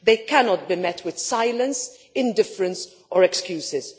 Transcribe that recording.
They cannot be met with silence, indifference or excuses.